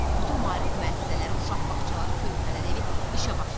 Bütün maarif müəssisələri, uşaq bağçaları, körpələr evi işə başlamalıdır.